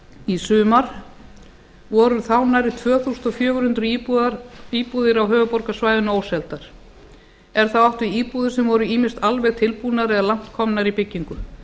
í sumar voru þá nærri tvö þúsund fjögur hundruð íbúðir á höfuðborgarsvæðinu óseldar er þá átt við íbúðir sem voru ýmist alveg tilbúnar eða langt komnar í byggingu